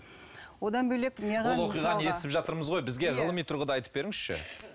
одан бөлек маған ол оқиғаны естіп жатырмыз ғой бізге ғылыми тұрғыда айтып беріңізші